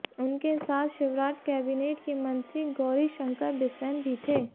उनके साथ शिवराज कैबिनेट के मंत्री गौरीशंकर बिसेन भी थे